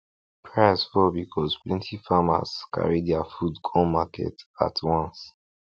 price fall because plenty farms carry their food come market at once